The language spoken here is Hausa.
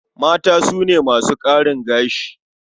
Mata su ne masu ƙarin gashi.